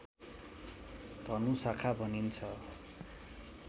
धनु शाखा भनिन्छ